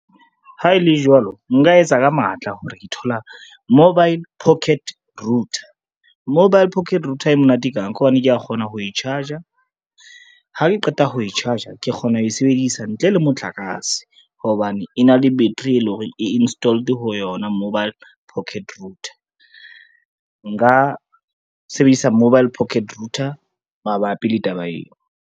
Ha e le jwalo, nka etsa ka matla hore ke thola mobile pocket router. Mobile pocket router e monate kang, ka hobane kea kgona ho e charge-a, ha ke qeta ho e charge-a ke kgona ho e sebedisa ntle le motlakase, hobane e na le battery e leng hore e installed ho yona mobile pocket router. Nka sebedisa mobile pocket router mabapi le taba ena.